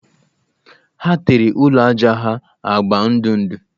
Ha tere ụlọ ajá ha agba ndụ ndụ